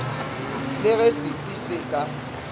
le ge sekhwi se ka